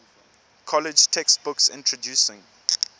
college textbooks introducing